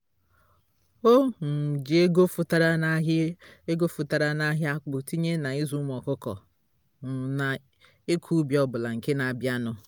o um ji ego fọtara n'ahịa ego fọtara n'ahịa akpụ etinye na ịzụ ụmụ ọkụkọ um na ịkọ ubi ọbụla nke na abịa nụ